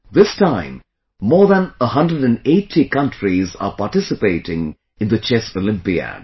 This time, more than 180 countries are participating in the Chess Olympiad